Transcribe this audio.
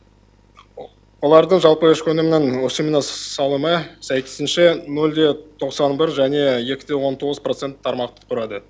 олардың жалпы ішкі өнімнің өсіміне салымы сәйкесінше нөл де тоқсан бір және екі де он тоғыз процент тармақты құрады